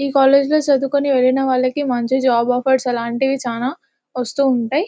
ఈ కాలేజీ లో చదువుకు ని వెళ్లిన వల్కి మంచి జాబ్ ఆఫర్స్ అలాంటివి చానా వస్తు ఉంటాయి --